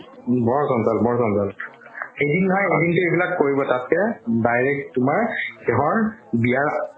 বৰ জঞ্জাল বৰ জঞ্জাল এদিন নহয় এদিনতো কৰিবৈ তাতকে direct তুমাৰ বিয়াৰ